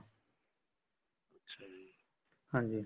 ਹਾਂਜੀ